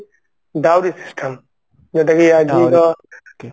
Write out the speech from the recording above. ଦାଉରୀ system ଯୋଉଟା କି